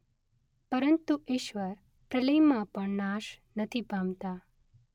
પરંતુ ઇશ્વર પ્રલયમાં પણ નાશ નથી પામતા.